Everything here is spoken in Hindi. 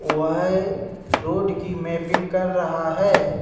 वह एक रोड की मैंपिंग कर रहा हैं।